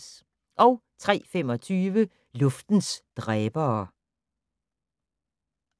03:25: Luftens dræbere